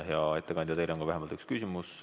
Hea ettekandja, teile on ka vähemalt üks küsimus.